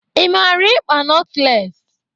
Ị mara ịkpa notles?